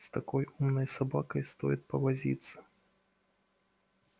с такой умной собакой стоит повозиться